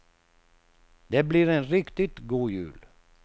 Det blir en riktigt god jul.